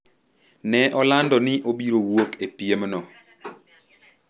ne olando ni obiro wuok e piemno